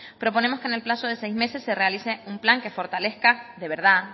proponemos que en el plazo de seis meses se realice un plan que fortalezca de verdad